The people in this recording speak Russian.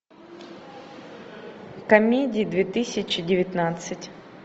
комедии две тысячи девятнадцать